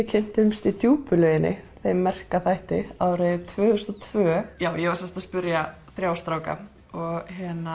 kynntumst í djúpu lauginni þeim merka þætti árið tvö þúsund og tvö já ég var sem sagt að spyrja þrjá stráka og